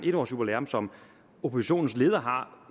en års jubilæum som oppositionens leder har